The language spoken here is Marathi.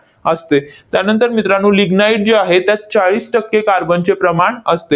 असते. त्यानंतर मित्रांनो, lignite जे आहे, त्यात चाळीस टक्के कार्बनचे प्रमाण असते.